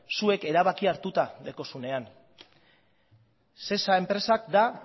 zuek erabakia hartuta daukazuenean sesa enpresa da